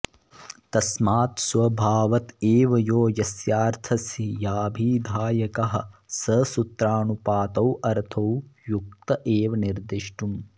तस्मात् स्वभावत एव यो यस्यार्थस्याभिधायकः स सूत्रानुपात्तोऽर्थो युक्त एव निर्देष्टुम्